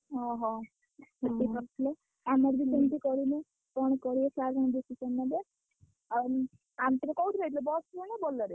ଓହୋ ଆମର ବି ସେମିତି କରିବୁ। କଣ କରିବେ sir ତାଙ୍କ English ନେବେ। ଆଉ bus ରେ ନା Bolero ରେ